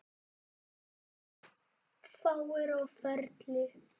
Fáir á ferli.